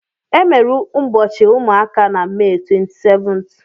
Emere ụbọchị ụmụaka na Mee 27th.